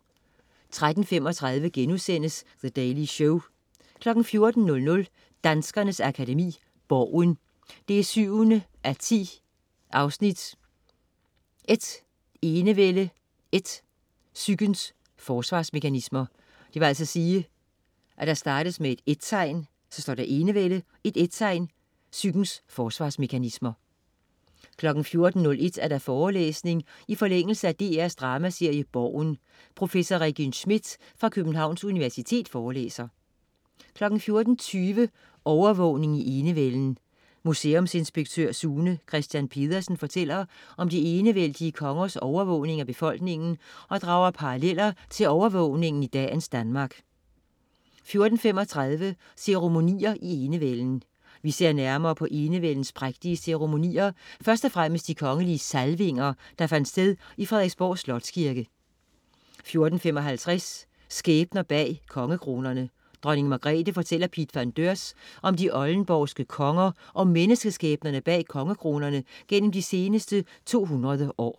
13.35 The Daily Show* 14.00 Danskernes Akademi: Borgen 7:10 & Enevælde & Psykens Forsvarsmekanismer 14.01 Forelæsning i forlængelse af DR's dramaserie "Borgen".Professor Regin Schmidt fra Københavns Universitet forelæser 14.20 Overvågning i enevælden. Museumsinspektør Sune Christian Pedersen fortæller om de enevældige kongers overvågning af befolkningen og drager paralleller til overvågning i dagens Danmark 14.35 Ceremonier i enevælden. Vi ser nærmere på enevældens prægtige ceremonier, først og fremmest de kongelige salvinger, der fandt sted i Frederiksborg Slotskirke 14.55 Skæbner bag kongekronerne. Dronning Margrethe fortæller Piet van Deurs om de oldenborgske konger og menneskeskæbnerne bag kongekronerne gennem de seneste 200 år